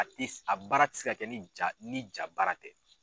A tɛ a baara tɛ se ka kɛ ni jaa ni jaa baara tɛ.